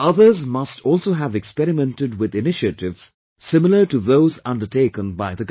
Others must also have experimented with initiatives similar to those undertaken by the Government